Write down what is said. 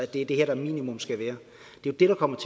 det er det her der minimum skal være det er det der kommer